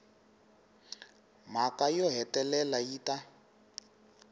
mhaka yo hetelela yi ta